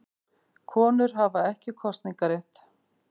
Konur hafa ekki kosningarétt.